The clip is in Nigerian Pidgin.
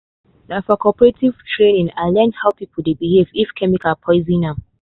na for cooperative training i learn how person dey behave if chemical poison am.